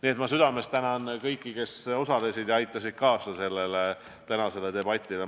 Ma tänan südamest kõiki, kes osalesid ja aitasid sellele tänasele debatile kaasa.